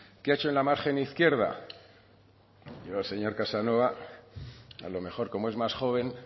qué ha hecho en la margen izquierda yo señor casanova a lo mejor como es más joven